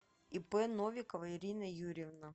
ип новикова ирина юрьевна